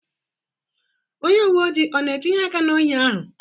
Onye uwe ojii ọ na-etinye aka na ohi ahụ?